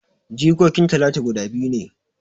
Jikokin talatu guda biyu ne